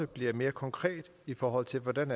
bliver mere konkret i forhold til hvordan